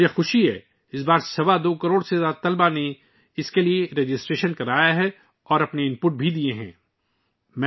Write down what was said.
مجھے خوشی ہے کہ اس بار 2.25 کروڑ سے زیادہ طلبہ نے اس کے لیے اندراج کرایا ہے اور اپنی رائے بھی پیش کی ہے